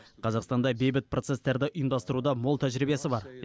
қазақстанда бейбіт процесстерді ұйымдастыруда мол тәжірибесі бар